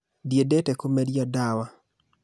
Ndĩ endete kumeria ndawa